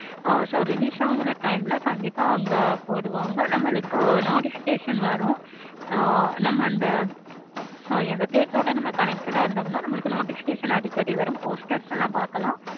ஆஹ் so release ஆகுற time ல கண்டிப்பா அங்க போடுவாங்க. நம்மளுக்கு notifications வரும். ஆஹ் நம்ம அந்த sorry அந்த theatre ஓட நம்ம connected ஆஹ் இருந்த நம்மளுக்கு notification அடிக்கடி வரும். posters எல்லாம் பார்க்கலாம்.